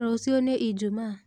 Rũciũ nĩ ijumaa